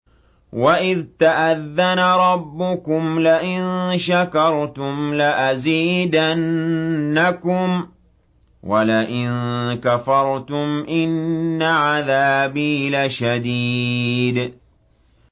وَإِذْ تَأَذَّنَ رَبُّكُمْ لَئِن شَكَرْتُمْ لَأَزِيدَنَّكُمْ ۖ وَلَئِن كَفَرْتُمْ إِنَّ عَذَابِي لَشَدِيدٌ